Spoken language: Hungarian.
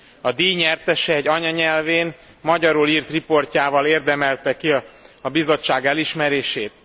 A díj nyertese egy anyanyelvén, magyarul írt riportjával érdemelte ki a Bizottság elismerését.